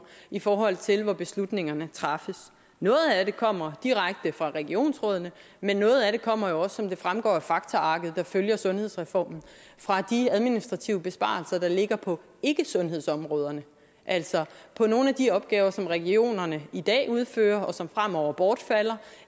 i forhold til hvor beslutningerne træffes noget af det kommer direkte fra regionsrådene men noget af det kommer jo også som det fremgår af faktaarket der følger sundhedsreformen fra de administrative besparelser der ligger på ikkesundhedsområderne altså på nogle af de opgaver som regionerne i dag udfører og som fremover bortfalder